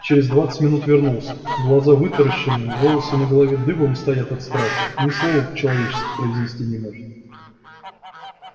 через двадцать минут вернулся глаза вытаращенные волосы на голове дыбом стоят от страха ни слова по-человечески произнести не может